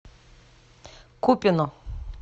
купино